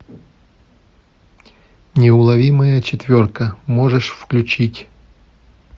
неуловимая четверка можешь включить